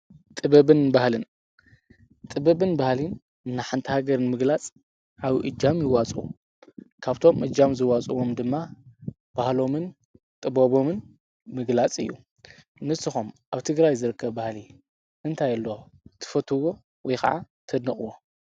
ጥበብን ባህልን፡-ጥበብን ባህለን ናይ ሓንቲ ሃገር ንምግላጽ ዓብዩ ኢጃም ይዋፅኡ፡፡ ካብቶም እጃም ዝዋፅዎም ድማ ባህሎምን ጥበቦምን ምግላፅ እዩ፡፡ ንስኹም ኣብ ትግራይ ዝርከብ ባህሊ እንታይ ኣሎ ትፈትዎ ወይኸዓ ተድንቕዎ?